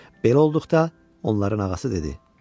Belə olduqda onların ağası dedi: